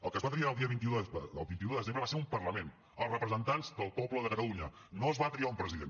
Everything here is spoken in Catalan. el que es va triar el dia vint un de desembre va ser un parlament els representants del poble de catalunya no es va triar un president